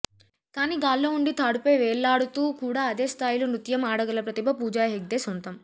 కానీ గాల్లో ఉండి తాడుపై వేళ్లాడుతూ కూడా అదే స్థాయిలో నృత్యం ఆడగల ప్రతిభ పూజా హెగ్డే సొంతం